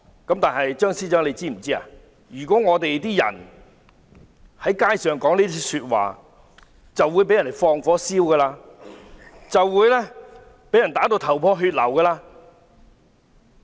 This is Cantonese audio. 張司長是否知道市民在街上說這樣的話會被人放火燒、被打至頭破血流？